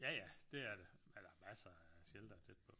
Ja ja det er det men der er masser af sheltere tæt på